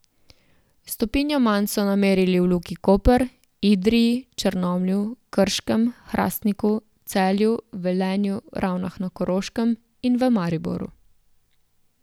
Stopinjo manj so namerili v Luki Koper, Idriji, Črnomlju, Krškem, Hrastniku, Celju, Velenju, Ravnah na Koroškem in v Mariboru.